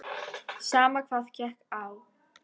Sama hvað gekk á.